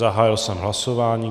Zahájil jsem hlasování.